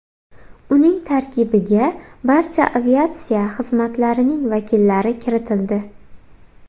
Uning tarkibiga barcha aviatsiya xizmatlarining vakillari kiritildi.